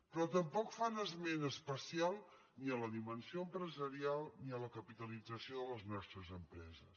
però tampoc fan esment especial ni de la dimensió empresarial ni de la capitalització de les nostres empreses